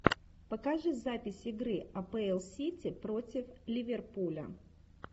покажи запись игры апл сити против ливерпуля